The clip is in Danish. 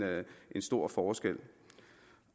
stor forskel